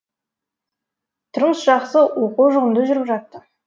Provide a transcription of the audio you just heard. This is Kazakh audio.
тұрмыс жақсы оқу жұғымды жүріп жатты